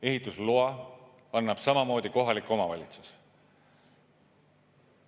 Ehitusloa annab samamoodi kohalik omavalitsus.